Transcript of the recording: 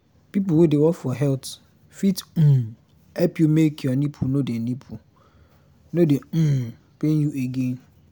people wey dey work for health fit um help you make nipple no dey nipple no dey um pain you again